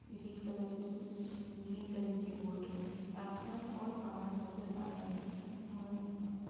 green colour की green colour की boat में आसमान और पहाड़ नजर आ रहे हैं और आस --